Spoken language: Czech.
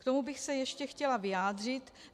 K tomu bych se ještě chtěla vyjádřit.